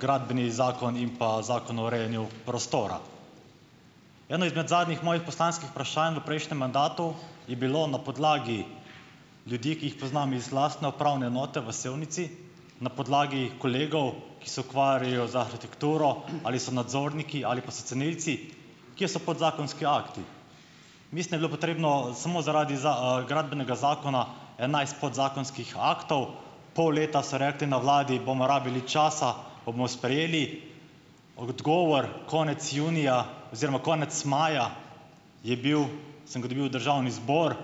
Gradbeni zakon in pa Zakon o urejanju prostora. Eno izmed zadnjih mojih poslanskih vprašanj v prejšnjem mandatu je bilo na podlagi ljudi, ki jih poznam iz lastne upravne enote v Sevnici, na podlagi kolegov, ki se ukvarjajo z arhitekturo, ali so nadzorniki ali pa so cenilci, kje so podzakonski akti. Mislim, da je bilo potrebno samo zaradi Gradbenega zakona enajst podzakonskih aktov. Pol leta so rekli na vladi: "Bomo rabili časa, pa bomo sprejeli." Odgovor konec junija oziroma konec maja je bil, sem ga dobil v državni zbor,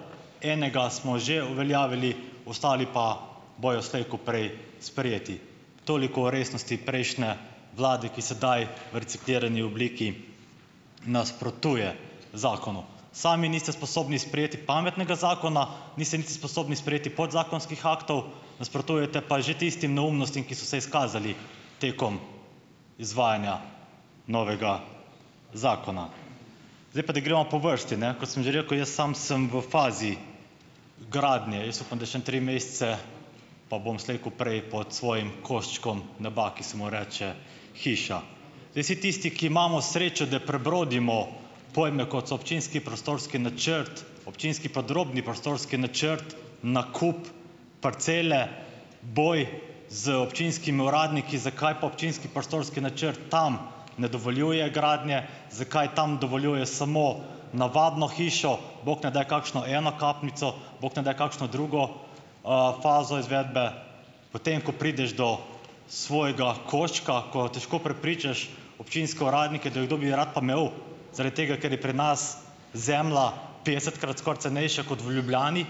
enega smo že uveljavili, ostali pa bojo slej ko prej sprejeti. Toliko o resnosti prejšnje vlade, ki sedaj v reciklirani obliki nasprotuje zakonu. Sami niste sposobni sprejeti pametnega zakona, niste niti sposobni sprejeti podzakonskih aktov, nasprotujete pa že tistim neumnostim, ki so se izkazali tekom izvajanja novega zakona. Zdaj pa da gremo po vrsti, ne. Kot sem že rekel, jaz sam sem v fazi gradnje, jaz upam, da še ene tri mesece pa bom slej ko prej pod svojim koščkom neba, ki se mu reče hiša. Zdaj, vsi tisti, ki imamo srečo, da prebrodimo pojme, kot so občinski prostorski načrt, občinski podrobni prostorski načrt, nakup parcele, boj z občinskimi uradniki, zakaj pa občinski prostorski načrt tam ne dovoljuje gradnje, zakaj tam dovoljuje samo navadno hišo, bog ne daj kakšno enokapnico, bog ne daj kakšno drugo, fazo izvedbe. Potem ko prideš do svojega koščka, ko težko prepričaš občinske uradnike, da kdo bi rad pa imel, zarat tega ker je pri nas zemlja petdesetkrat skoraj cenejša kot v Ljubljani,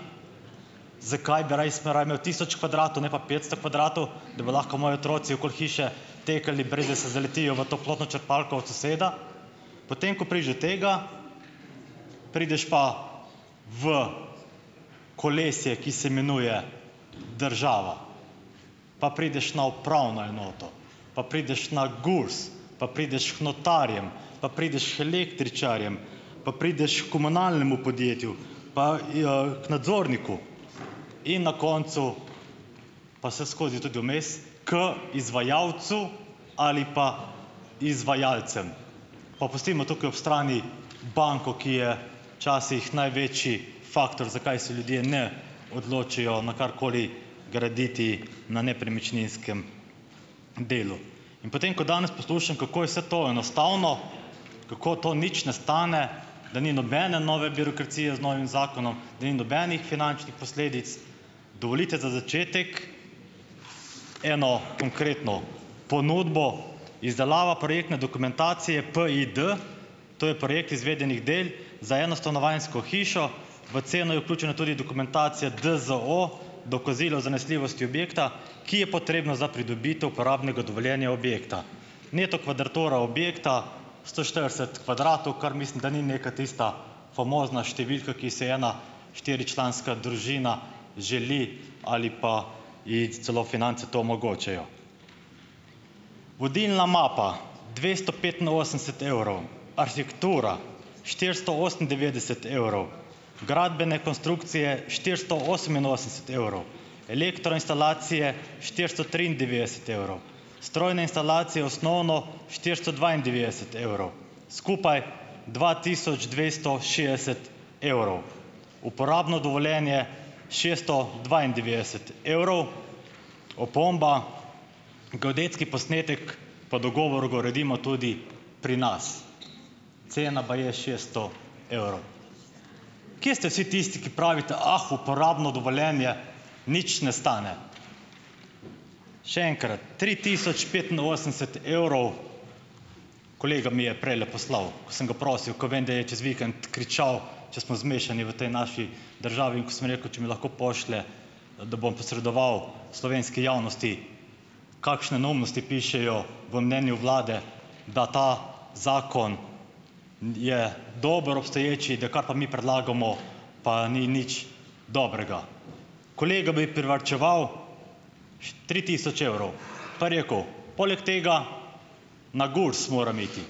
zakaj bi res raje imel tisoč kvadratov, ne pa petsto kvadratov, da bi lahko moji otroci okoli hiše takole, brez da se zaletijo v toplotno črpalko od soseda. Potem ko prideš do tega, prideš pa v kolesje, ki se imenuje država. Pa prideš na upravno enoto, pa prideš na Gurs, pa prideš k notarjem, pa prideš k električarjem, pa prideš h komunalnemu podjetju, pa k nadzorniku in na koncu - pa vseskozi tudi vmes - k izvajalcu ali pa izvajalcem. Pa pustimo tukaj ob strani banko, ki je včasih največji faktor, zakaj se ljudje ne odločijo na karkoli graditi na nepremičninskem delu. In potem, ko danes poslušam, kako je vse to enostavno, kako to nič ne stane, da ni nobene nove birokracije z novim zakonom, da ni nobenih finančnih posledic, dovolite za začetek eno konkretno ponudbo: izdelava projektne dokumentacije PID to je projekt izvedenih del za enostanovanjsko hišo, v ceno je vključena tudi dokumentacija DZO, dokazilo zanesljivosti objekta, ki je potrebna za pridobitev uporabnega dovoljenja objekta. Neto kvadraturo objekta sto štirideset kvadratov, kar mislim, da ni neka tista famozna številka, ki si ji ena štiričlanska družina želi, ali pa ji celo finance to omogočajo. Vodilna mapa dvesto petinosemdeset evrov, arhitektura štiristo osemindevetdeset evrov, gradbene konstrukcije štiristo oseminosemdeset evrov, elektroinštalacije štiristo triindevetdeset evrov, strojne instalacije - osnovno štiristo dvaindevetdeset evrov. Skupaj dva tisoč dvesto šestdeset evrov. Uporabno dovoljenje šeststo dvaindevetdeset evrov. Opomba: geodetski posnetek, po dogovoru ga uredimo tudi pri nas. Cena baje šeststo evrov. Kje ste vsi tisti, ki pravite: "Ah, uporabno dovoljenje nič ne stane?" Še enkrat, tri tisoč petinosemdeset evrov, kolega mi je prejle poslal, ko sem ga prosil, ko vem, da je čez vikend kričal, če smo zmešani v tej naši državi, in ko sem rekel, če mi lahko pošlje, da bom posredoval slovenski javnosti, kakšne neumnosti pišejo v mnenju vlade, da ta zakon je dober, obstoječi, da kar pa mi predlagamo, pa ni nič dobrega. Kolega bi privarčeval tri tisoč evrov pa je rekel: "Poleg tega, na Gurs moram iti.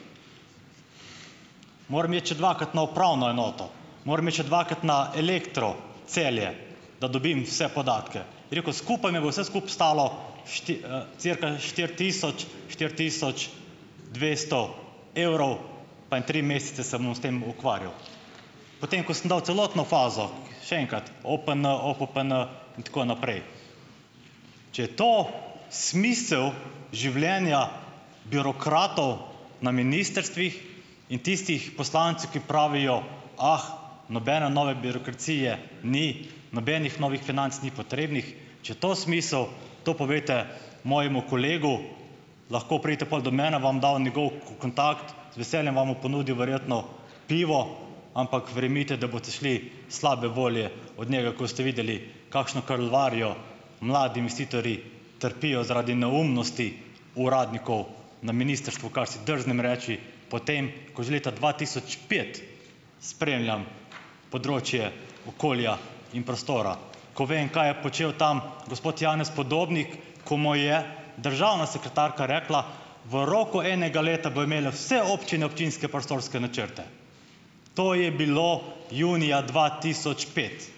Moram iti še dvakrat na upravno enoto. Moram iti še dvakrat na Elektro Celje, da dobim vse podatke, je rekel, skupaj me bo vse skupaj stalo cirka štiri tisoč štiri tisoč dvesto evrov, pa en tri mesece se bom s tem ukvarjal. Potem ko sem dal celotno fazo, še enkrat, OPN, OPPN in tako naprej." Če je to smisel življenja birokratov na ministrstvih in tistih poslancev, ki pravijo: "Ah, nobene nove birokracije ni, nobenih novih financ ni potrebnih, če je to smisel, to povejte mojemu kolegu, lahko pridete pol do mene, vam bom dal njegov kontakt, z veseljem vam bo ponudil verjetno pivo." Ampak verjemite, da boste šli slabe volje od njega, ko boste videli, kakšno kalvarijo mladi investitorji trpijo zaradi neumnosti uradnikov na ministrstvu, kar si drznem reči, potem ko že leta dva tisoč pet spremljam področje okolja in prostora. Ko vem, kaj je počel tam gospod Janez Podobnik, ko mu je državna sekretarka rekla, v roku enega leta bojo imele vse občine občinske prostorske načrte. To je bilo junija dva tisoč pet.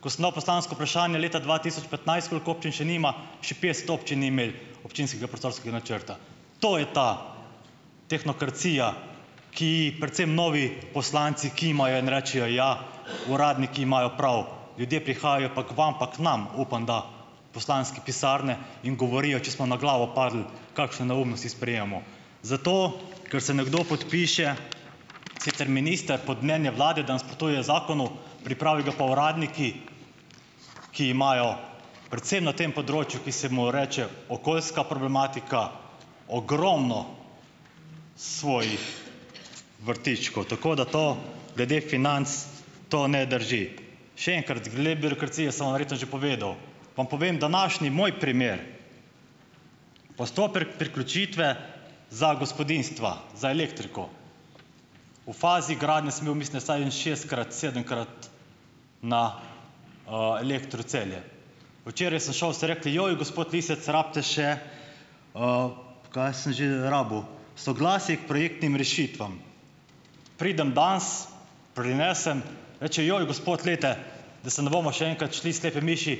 Ko sem dal poslansko vprašanje leta dva tisoč petnajst, koliko občin še nima, še petdeset občin ni imelo občinskega prostorskega načrta. To je ta tehnokracija, ki, predvsem novi poslanci kimajo in rečejo: "Ja, uradniki imajo prav, ljudje prihajajo pa k vam, pa k nam, upam da, v poslanske pisarne in govorijo, če smo na glavo padli, kakšne neumnosti sprejemamo." Zato ker se nekdo podpiše, sicer minister, pod mnenje vlade, da nasprotuje zakonu, pripravijo ga pa uradniki, ki imajo, predvsem na tem področju, ki se mu reče okoljska problematika, ogromno svojih vrtičkov. Tako da to, glede financ, to ne drži. Še enkrat, glede birokracije sem vam verjetno že povedal, vam povem, današnji, moj primer - postopek priključitve za gospodinjstva, za elektriko. V fazi gradnje sem bil, mislim da, vsaj šestkrat, sedemkrat na, Elektro Celje. Včeraj sem šel, so rekli: "Joj, gospod Lisec, rabite še, kaj sem že rabil, soglasje k projektnim rešitvam." Pridem danes, prinesem, reče: "Joj, gospod, glejte, da se ne bomo še enkrat šli slepe miši."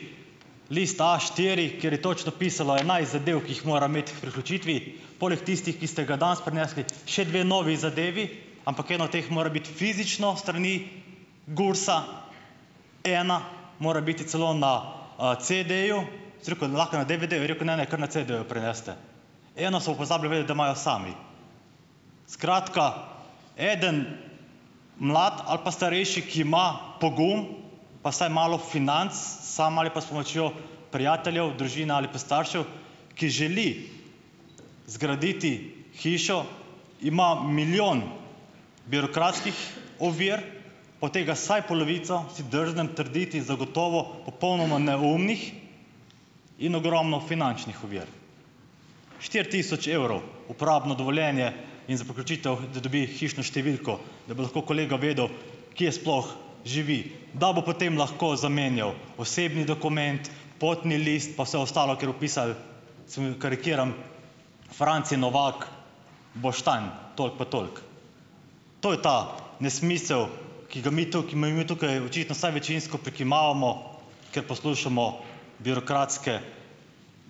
List Aštiri, kjer je točno pisalo enajst zadev, ki jih moram imeti k priključitvi, poleg tistih, ki ste ga danes prinesli, še dve novi zadevi, ampak ena od teh more biti fizično s strani GURS-a, ena mora biti celo na, CD-ju, sem rekel: "Ali lahko na DDV-ju," je rekel, "ne, ne, kar na CD-ju prinesite," eno so pa pozabili vedeti, da imajo sami. Skratka, eden mlad ali pa starejši, ki ima pogum, pa saj malo financ sam ali pa s pomočjo prijateljev, družine ali pa staršev, ki želi zgraditi hišo, ima milijon birokratskih ovir, od tega vsaj polovico, si drznem trditi, zagotovo popolnoma neumnih in ogromno finančnih ovir. Štiri tisoč evrov, uporabno dovoljenje in za priključitev, da dobi hišno številko, da bo lahko kolega vedel, kje sploh živi, da bo potem lahko zamenjal osebni dokument, potni list pa vse ostalo, ker bo pisal, seveda karikiram, Franci Novak, Boštanj, toliko pa toliko. To je ta nesmisel, ki ga mi tukaj, mi mi tukaj očitno vsaj večinsko prikimavamo, ker poslušamo birokratske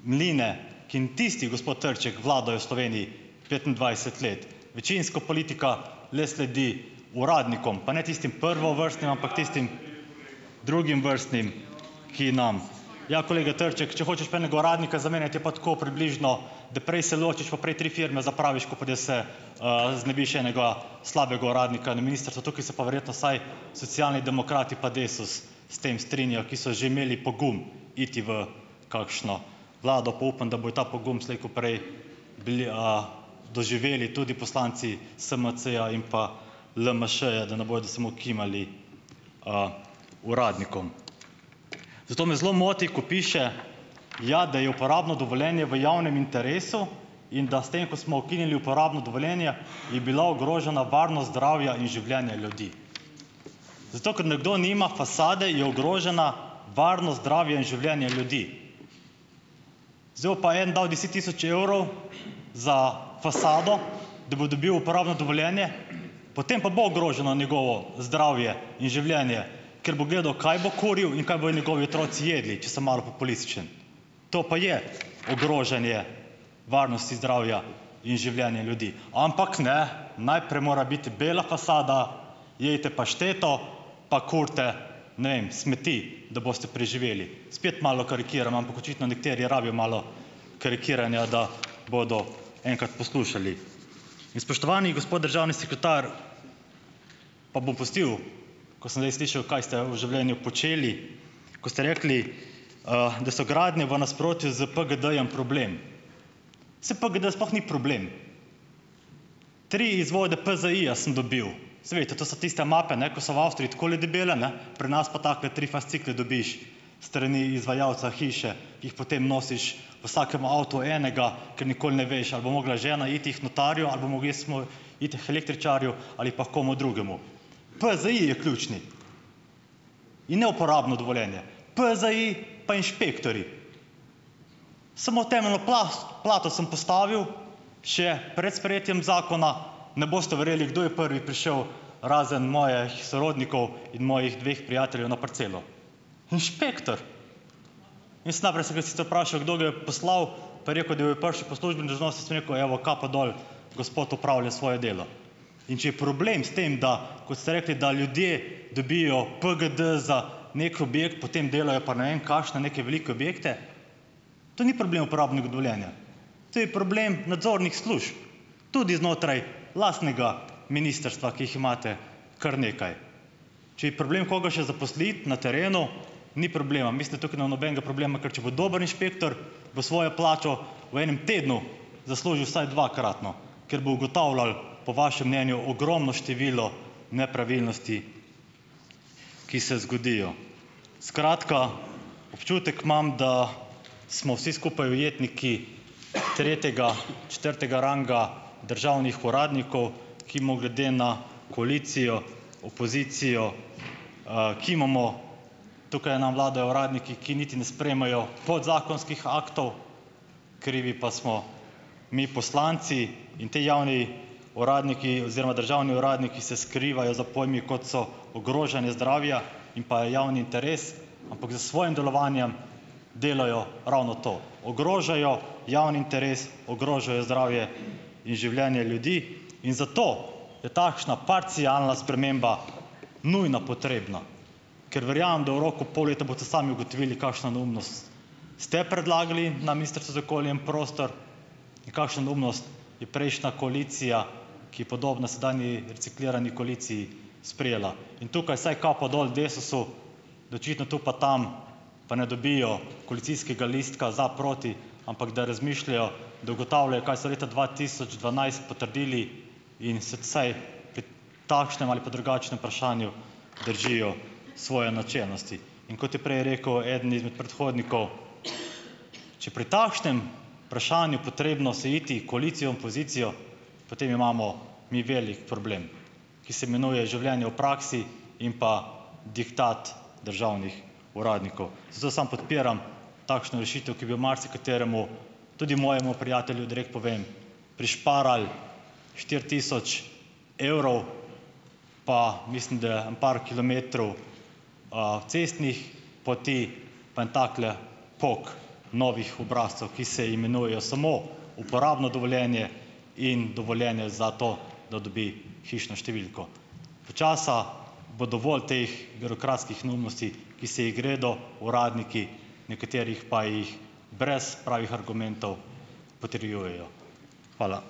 mline, ki jim tisti, gospod Trček, vladajo v Sloveniji petindvajset let. Večinsko politika le sledi uradnikom, pa ne tistim prvovrstnim, ampak tistim drugovrstnim, ki nam, ja, kolega Trček, če hočeš pa enega uradnika zamenjati, je pa tako približno, da prej se ločiš, pa prej tri firme zapraviš, ko pa da se, znebiš enega slabega uradnika na ministrstvu, tukaj se pa verjetno vsaj Socialni demokrati pa Desus s tem strinjajo, ki so že imeli pogum iti v kakšno vlado pa upam, da bojo ta pogum slej ko prej bili, doživeli tudi poslanci SMC-ja in pa LMŠ-ja, da ne bodo samo kimali, uradnikom. Zato me zelo moti, ko piše, ja, da je uporabno dovoljenje v javnem interesu in da s tem, ko smo ukinili uporabno dovoljenje, je bila ogrožena varnost zdravja in življenje ljudi. Zato, ker nekdo nima fasade, je ogrožena varnost zdravja in življenje ljudi. Zdaj bo pa en dal deset tisoč evrov za fasado, da bo dobil uporabno dovoljenje, potem pa bo ogroženo njegovo zdravje in življenje, ker bo gledal, kaj bo kuril in kaj bojo njegovi otroci jedli, če sem malo populističen. To pa je ogrožanje varnosti zdravja in življenja ljudi. Ampak ne, najprej mora biti bela fasada, pašteto jejte, pa kurite, ne vem, smeti, da boste preživeli. Spet malo karikiram, ampak očitno nekateri rabijo malo karikiranja, da bodo enkrat poslušali. In spoštovani gospod državni sekretar, pa bom pustil, ko sem zdaj slišal, kaj ste v življenju počeli, ko ste rekli, da so gradnje v nasprotju z PGD-jem problem. Saj PGD sploh ni problem. Tri izvode PZI-ja sem dobil, saj veste, to so tiste mape, ne, ko so v Avstriji takole debele, ne, pri nas pa takole tri fascikle dobiš s strani izvajalca hiše, ki jih potem nosiš v vsakem avtu enega, ker nikoli ne veš, ali bo mogla žena iti k notarju ali bom mogel jaz iti k električarju ali pa h komu drugemu. PZI je ključen in ne uporabno dovoljenje. PZI pa inšpektorji. Samo temeljno plast plato sem postavil še pred sprejetjem zakona, ne boste verjeli, kdo je prvi prišel, razen mojih sorodnikov in mojih dveh prijateljev na parcelo. Inšpektor. Jaz najprej sem ga sicer vprašal, kdo ga je poslal, pa je rekel, da je prišel po službeni dolžnosti, sem rekel: "Evo, kapo dol, gospod opravlja svoje delo." In če je problem s tem, da, kot ste rekli, da ljudje dobijo PGD za neki objekt, potem delajo pa ne vem kakšne neke velike objekte, to ni problem uporabnega dovoljenja. To je problem nadzornih služb. Tudi znotraj lastnega ministrstva, ki jih imate kar nekaj. Če je problem koga še zaposliti na terenu, ni problema, mislim, da tukaj ne bo nobenega problema. Ker če bo dober inšpektor, bo svojo plačo v enem tednu zaslužil vsaj dvakratno, ker bo ugotavljal, po vašem mnenju, ogromno število nepravilnosti, ki se zgodijo. Skratka, občutek imam, da smo vsi skupaj ujetniki tretjega, četrtega ranga državnih uradnikov, ki mu glede na koalicijo, opozicijo, kimamo. Tukaj nam vladajo uradniki, ki niti ne sprejmejo podzakonskih aktov, krivi pa smo mi poslanci. In ti javni uradniki oziroma državni uradniki se skrivajo za pojmi, kot so ogrožanje zdravja in pa javni interes, ampak s svojim delovanjem delajo ravno to, ogrožajo javni interes, ogrožajo zdravje in življenje ljudi. In zato je takšna parcialna sprememba nujno potrebna, ker verjamem, da v roku pol leta boste sami ugotovili kakšno neumnost, ste predlagali na Ministrstvu za okolje in prostor in kakšno neumnost je prejšnja koalicija, ki je podobna sedanji reciklirani koaliciji, sprejela. In tukaj vsaj kapo dol Desusu, da očitno tu pa tam pa ne dobijo koalicijskega listka za - proti, ampak da razmišljajo, da ugotavljajo, kaj so leta dva tisoč dvanajst potrdili, in se vsaj pri takšnem ali pa drugačnem vprašanju držijo svoje načelnosti. In kot je prej rekel eden izmed predhodnikov, če pri takšnem vprašanju potrebno se iti koalicijo in opozicijo, potem imamo mi velik problem, ki se imenuje življenje v praksi in pa diktat državnih uradnikov. Zato sam podpiram takšno rešitev, ki bi v marsikaterem, tudi mojem prijatelju, direkt povem, prišparal štiri tisoč evrov, pa mislim, da ene par kilometrov, cestnih poti, pa en takle pok novih obrazcev, ki se imenujejo samo uporabno dovoljenje in dovoljenje za to, da dobi hišno številko. Počasi bo dovolj teh birokratskih neumnosti, ki se jih gredo uradniki, nekaterih pa jih brez pravih argumentov potrjujejo. Hvala.